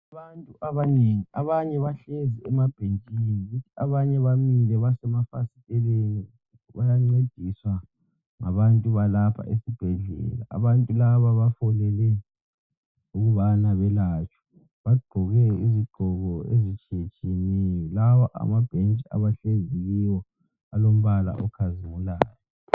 Ngabantu abanengi abanye abahlezi emabhentshini abanye bamile basemafastelini bayancediswa ngabantu balapha esibhedlela. Abantu laba bafolele ukubana belatshwe. Baqgoke izigqoko ezitshiyetshiyeneyo lawa amabhentshi abahlenzi kuwe olambala okhazimulayo.